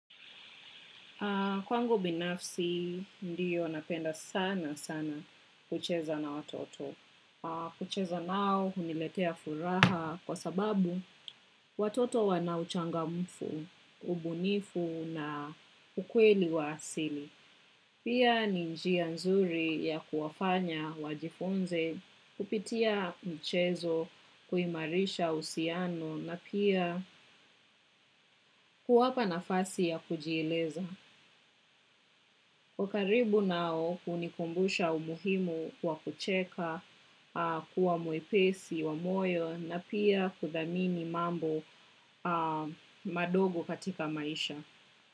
Kwa ngu binafsi, ndiyo napenda sana sana kucheza na watoto. Kucheza nao, uniletea furaha kwa sababu watoto wanauchangamfu, ubunifu na ukweli wa asili. Pia ni njia nzuri ya kuwafanya, wajifunze, kupitia mchezo, kuimarisha usiano, na pia kuwapa na fasi ya kujiileza. Kukaribu nao kunikumbusha umuhimu kwa kucheka, kuwa mwepesi, wamoyo na pia kudhamini mambo madogo katika maisha.